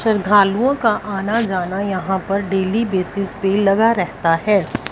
श्रद्धालुओं का आना जाना यहां पर डेली बेसिस पे लगा रहता है।